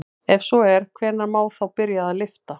Ef svo er hvenær má þá byrja að lyfta?